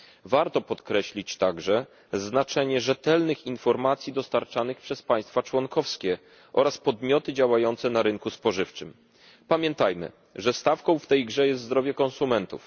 Warto podkreślić także znaczenie rzetelnych informacji dostarczanych przez państwa członkowskie oraz podmioty działające na rynku spożywczym. Pamiętajmy, że stawką w tej grze jest zdrowie konsumentów.